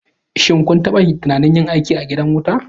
Shin kun taɓa tunanin yin aiki a gidan wuta?